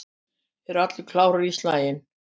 Eru allir klárir í slaginn?